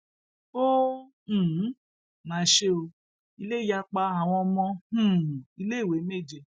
ó um mà ṣe ó ilé yá pa àwọn ọmọ um iléèwé méje